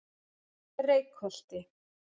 Reykholti